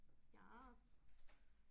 Yes